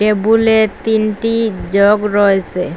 টেবুলে তিনটি জগ রয়েসে।